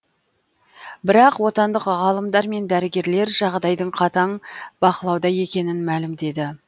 бірақ отандық ғалымдар мен дәрігерлер жағдайдың қатаң бақылауда екенін мәлімдеді